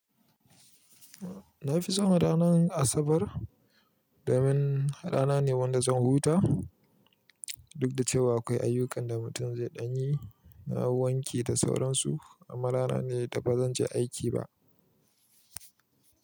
Na fi san ranan Asabar domin rana ne wanda zan huta duk da cewa akwai ayyukan da mutum zai ɗan yi. Na wanke da sauransu amma rana ne da ba zan je aiki ba.